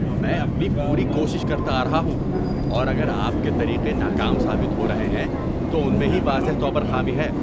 میں اپنی پوری کوشش کرتا آ رہا ہوں، اور اگر آپ کے طریقے ناکام ثابت ہو رہے ہیں تو ان میں ہی واضح طور پر خامی ہے۔